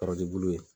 Kɔrɔjebu ye